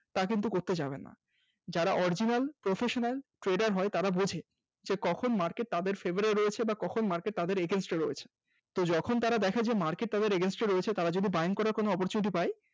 তা কিন্তু করতে যাবেন না, যারা Original Professional Trader হয় তারা বোঝে যে কখন Market তাদের Favour এ রয়েছে কখন Market Against এ রয়েছে যখন তারা দেখে যে Market তাদের Against এ রয়েছে তারা যদি Buying করার কোন opportunity পায়